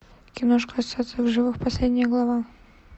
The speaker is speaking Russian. киношка остаться в живых последняя глава